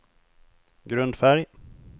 grundfärg